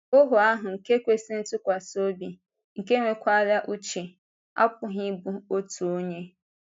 “Ohu ahụ na-ekwesị ntụkwasị obi, nke nwekwara uche” apụghị ịbụ otu onye.